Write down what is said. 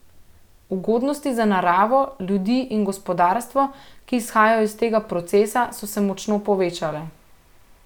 Ugodnosti za naravo, ljudi in gospodarstvo, ki izhajajo iz tega procesa, so se močno povečale.